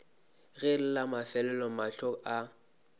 ge la mafelelo mahlo a